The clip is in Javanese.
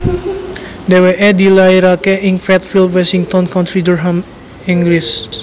Dhèwèké dilairaké ing Fatfield Washington County Durham Inggris